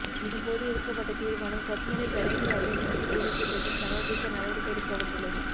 இதன் போது எடுக்கப்பட்ட தீர்மானம் கொத்மலை பிரதேச அபிவிருத்தி குழு கூட்டத்தில் சமர்பிக்க நடவடிக்கை எடுக்கபட்டுள்ளது